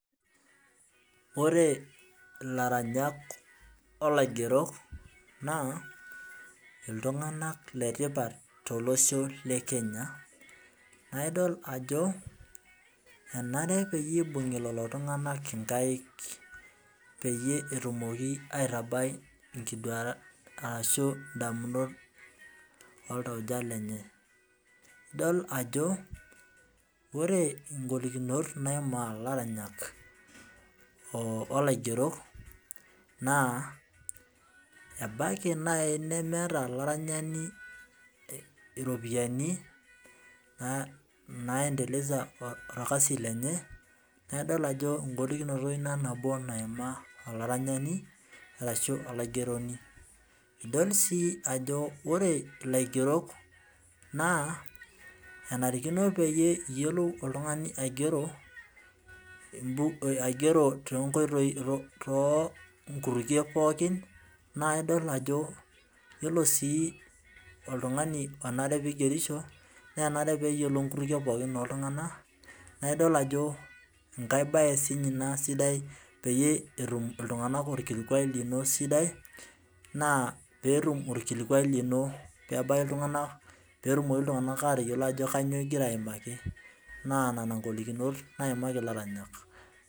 Ore ilaranyak olaigerok naa iltunganak letipat tolosho le Kenya. naa idol ajo enare peyie I bungi Lelo tunganak inkaik, peyie etumoki aitabai, ashu idamunot oltauja lenye. idol ajo ore ng'olikunot naimaa ilaranyak. olaigerok naa ebaiki naaji nemeeta olaranyani iropiyiani, naaendelesa, orkasi lenye. naa idol ijo egolikinoto Ina naimaa, olaranyani ashu olaigeronj, idol sii ajo ore, olaigerok naa kenarikino peyie etum oltungani aigero too nikutumie pookin naa oltungani onare pee igerisho. enare pee eyiolou inkutukie pookin oltunganak. naa idol ajo enkae bae ina sidai peyie etum iltunganak orkilikuai lino sidai. naa peetum olkiluai lino ebaiki iltunganak peyielou iltunganak entoki nigira aaimaki.